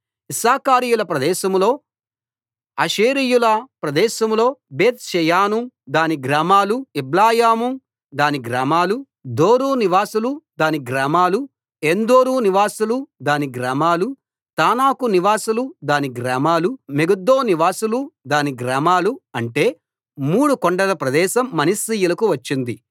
ఇశ్శాఖారీయుల ప్రదేశంలో ఆషేరీయుల ప్రదేశంలో బేత్ షెయాను దాని గ్రామాలూ ఇబ్లెయాము దాని గ్రామాలూ దోరు నివాసులు దాని గ్రామాలూ ఏన్దోరు నివాసులు దాని గ్రామాలూ తానాకు నివాసులు దాని గ్రామాలూ మెగిద్దో నివాసులు దాని గ్రామాలూ అంటే మూడు కొండల ప్రదేశం మనష్షీయులకు వచ్చింది